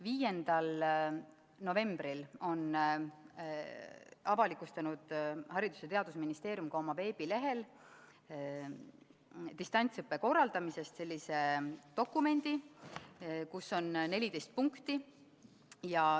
5. novembril on Haridus- ja Teadusministeerium avalikustanud oma veebilehel dokumendi "Distantsõppe korraldamisest", kus on 14 punkti.